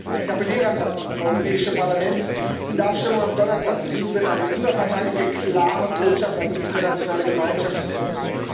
Ich appelliere an das Europäische Parlament, in der Abstimmung am Donnerstag in diesem Sinn eine überparteiliche klare Botschaft an die internationale Gemeinschaft zu senden.